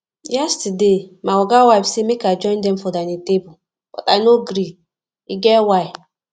yestersday my oga wife say make i join dem for dining table but i no gree e get why